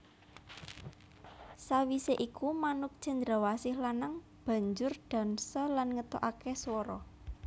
Sawisé iku manuk cendrawasih lanang banjur dansa lan ngetokaké swara